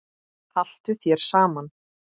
Haltu þér saman